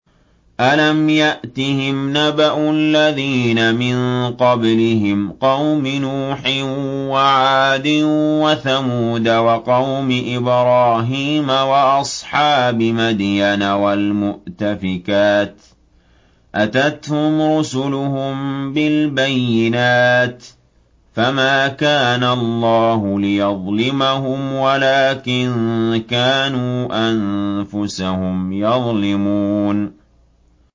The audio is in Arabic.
أَلَمْ يَأْتِهِمْ نَبَأُ الَّذِينَ مِن قَبْلِهِمْ قَوْمِ نُوحٍ وَعَادٍ وَثَمُودَ وَقَوْمِ إِبْرَاهِيمَ وَأَصْحَابِ مَدْيَنَ وَالْمُؤْتَفِكَاتِ ۚ أَتَتْهُمْ رُسُلُهُم بِالْبَيِّنَاتِ ۖ فَمَا كَانَ اللَّهُ لِيَظْلِمَهُمْ وَلَٰكِن كَانُوا أَنفُسَهُمْ يَظْلِمُونَ